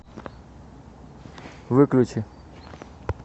выключи